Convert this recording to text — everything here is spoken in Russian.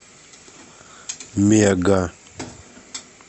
мега